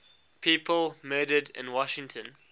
people murdered in washington